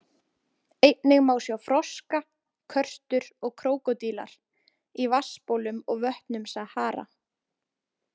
Einnig má sjá froska, körtur og krókódílar í vatnsbólum og vötnum Sahara.